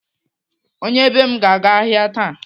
Onye be m ga-aga ahịa taa.